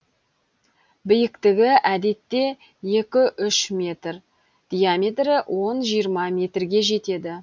биіктігі әдетте екі үш метр диаметрі он жиырма метрге жетеді